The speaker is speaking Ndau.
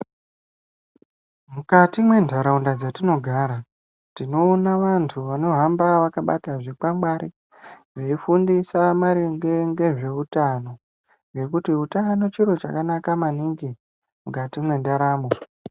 Mukati mwentaraunda dzetinogara tinoona vantu vanohamba vakabata zvikwangwari, veifundisa maringe ngezveutano, ngekuti utano chiro chakanaka maningi, mukati mwendaramo.